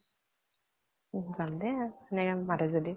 যাম দে হেনেকে মাতে যদি।